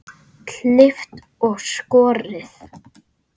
Klippt og skorið.